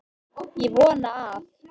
Ég vona að